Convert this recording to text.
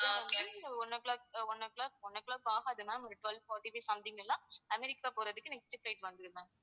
one o'clock one o'clock one o'clock ஆகாது ma'am ஒரு twelve fourty-five something லலாம் America போறதுக்கு next flight வந்துடும் ma'am